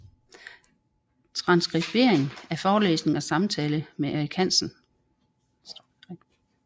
Transkribering af forelæsning og samtale med Eric Hazan